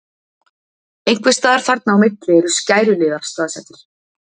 Einhvers staðar þarna á milli eru skæruliðar staðsettir.